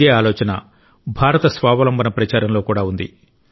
ఇదే ఆలోచన భారత స్వావలంబన ప్రచారంలో కూడా ఉంది